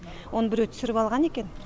оны біреу түсіріп алған екен